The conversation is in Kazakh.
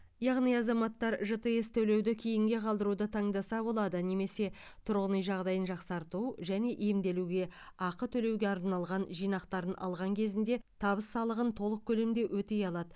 яғни азаматтар жтс төлеуді кейінге қалдыруды таңдаса болады немесе тұрғын үй жағдайын жақсарту және емделуге ақы төлеуге арналған жинақтарын алған кезінде табыс салығын толық көлемде өтей алады